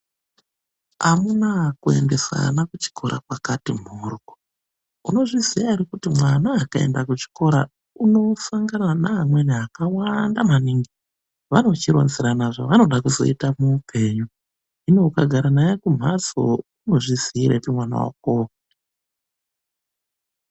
Amunaa kuendesa ana kuchikoro kwakati mhorwo, unozviziya ere kuti mwana akaenda kuchikoro unosangana neamweni akawanda maningi. Vanochirodzerana zvevanoda kuzoita muupenyu, hino ukagara naye kumhatso unozviziirepi mwana wakowo?